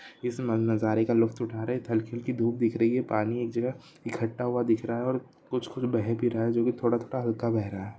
इस मन नजारे का लुफ्त उठा रहे इधर हल्की हल्की धूप दिख रही है पानी एक जगह इकट्ठा हुआ दिख रहा है और कुछ कुछ बह भी रहा है जो की थोड़ा-थोड़ा हल्का बह रहा है।